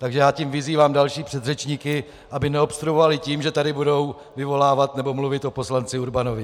Takže já tím vyzývám další předřečníky, aby neobstruovali tím, že tady budou vyvolávat nebo mluvit o poslanci Urbanovi.